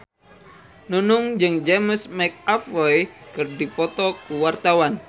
Nunung jeung James McAvoy keur dipoto ku wartawan